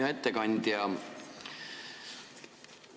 Hea ettekandja!